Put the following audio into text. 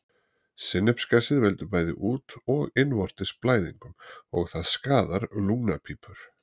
Sinnepsgasið veldur bæði út- og innvortis blæðingum og það skaðar lungnapípur.